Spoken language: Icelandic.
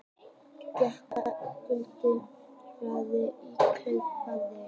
Gedda gulrót fylgir í kjölfarið.